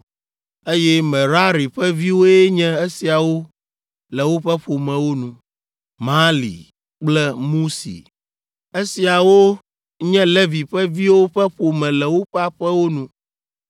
Eye Merari ƒe viwoe nye esiawo le woƒe ƒomewo nu: Mahli kple Musi. Esiawo nye Levi ƒe viwo ƒe ƒome le woƒe aƒewo nu.